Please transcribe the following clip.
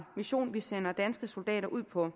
mission vi sender danske soldater ud på